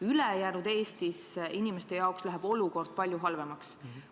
Mujal Eestis läheb olukord inimeste jaoks palju halvemaks.